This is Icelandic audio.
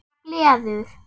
Það gleður